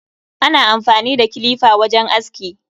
Ana amfani da kilifa wajen aski.